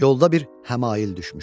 Yolda bir həmail düşmüşdü.